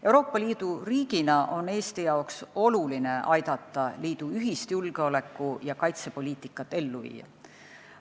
Euroopa Liidu riigina on Eestile oluline aidata liidu ühist julgeoleku- ja kaitsepoliitikat ellu viia.